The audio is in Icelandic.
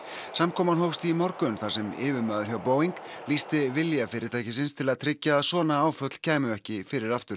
samkoman hófst í morgun þar sem yfirmaður hjá Boeing lýsti vilja til að tryggja að svona áföll kæmu ekki fyrir aftur